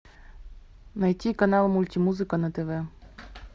найти канал мультимузыка на тв